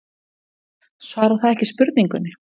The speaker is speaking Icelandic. Svarar það ekki spurningunni?